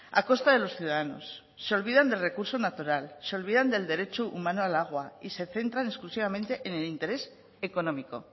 a costa de los ciudadanos se olvidan del recurso natural se olvidan del derecho humano al agua y se centran exclusivamente en el interés económico